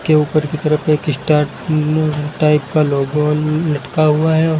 के ऊपर की तरफ एक स्टार मून टाइप का लोगो ल लटका हुआ है और--